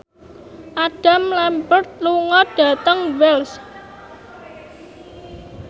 Adam Lambert lunga dhateng Wells